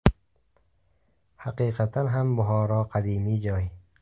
Haqiqatan ham, Buxoro qadimiy joy.